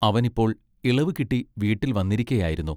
അവൻ ഇപ്പോൾ ഇളവുകിട്ടി വീട്ടിൽ വന്നിരിക്കയായിരുന്നു.